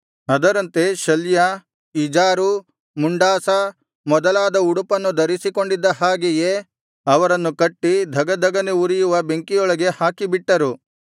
ಅದರಂತೆ ಶಲ್ಯ ಇಜಾರು ಮುಂಡಾಸ ಮೊದಲಾದ ಉಡುಪನ್ನು ಧರಿಸಿಕೊಂಡಿದ್ದ ಹಾಗೆಯೇ ಅವರನ್ನು ಕಟ್ಟಿ ಧಗಧಗನೆ ಉರಿಯುವ ಬೆಂಕಿಯೊಳಗೆ ಹಾಕಿಬಿಟ್ಟರು